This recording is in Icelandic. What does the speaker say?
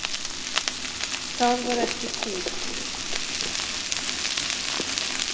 Það var ekki kúl.